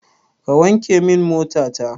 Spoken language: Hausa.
Ka wanke min mota ta!